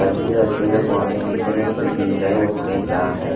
वहां पे नीचे में कोई बिक रहा है वो खरीद रहा है।